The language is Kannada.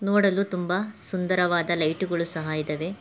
ನೋಡಲು ತುಂಬ ಸುಂದರವಾದ ಲೈಟ್ ಗಳು ಸಹ ಇದವೆ.